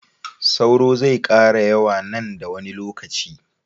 sauro zai kara yawa nan da wani lokaci